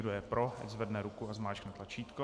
Kdo je pro, ať zvedne ruku a zmáčkne tlačítko.